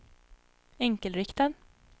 enkelriktad